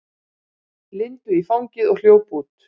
Lindu í fangið og hljóp út.